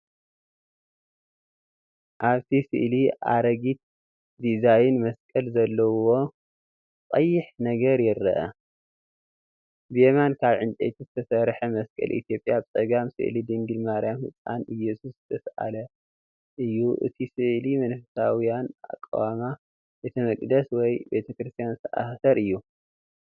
ኣብቲ ስእሊ ኣረጊት ዲዛይን መስቀል ዘለዎን ቀይሕ ነገር ይርአ። ብየማን ካብ ዕንጨይቲ ዝተሰርሐ መስቀል ኢትዮጵያ፡ ብጸጋም ስእሊ ድንግል ማርያምን ህጻን ኢየሱስን ዝተሳእለ እዩ። እቲ ስእሊ መንፈሳውን ኣቃውማ ቤተ መቕደስ ወይ ቤተ ክርስቲያን ዝተኣሳሰር እዩ።